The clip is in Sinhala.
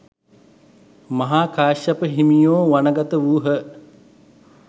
මහා කාශ්‍යප හිමියෝ වනගත වූහ.